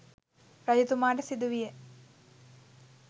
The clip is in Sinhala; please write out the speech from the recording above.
රජතුමාට සිදු විය.